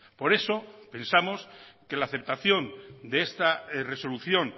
por eso pensamos que la aceptación de esta resolución